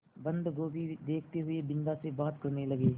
बन्दगोभी देखते हुए बिन्दा से बात करने लगे